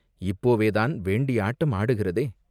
இப்போவேதான் வேண்டிய ஆட்டம் ஆடுகிறதே?